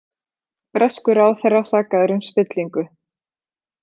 Breskur ráðherra sakaður um spillingu